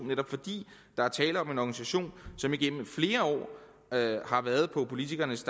netop fordi der er tale om en organisation som igennem flere år har været på politikernes